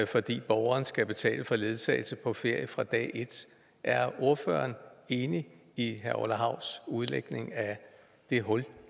fordi borgeren skal betale for ledsagelse på ferie fra dag et er ordføreren enig i herre orla havs udlægning af det hul